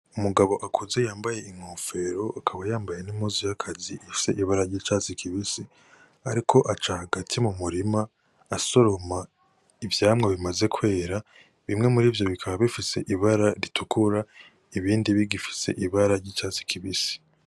Umugabo akuze yambaye inkofero akaba yambaye n' impuzu y’akazi ifise ibara ry'icatsi kibisi ariko aca hagati mu murima asoroma ivyamwa bimaze kwera bimwe murivyo bikaba bifise ibara ritukura ibindi bigifise ibara ry'icatsi kibisi.